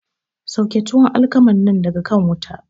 Sauke tuwon alkaman nan daga kan wuta!